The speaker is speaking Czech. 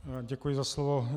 Děkuji za slovo.